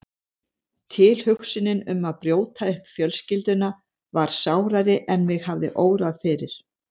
Tilhugsunin um að brjóta upp fjölskylduna var sárari en mig hafði órað fyrir.